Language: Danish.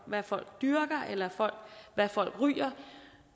hvad folk dyrker eller hvad folk ryger